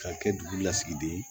Ka kɛ dugu lasigiden ye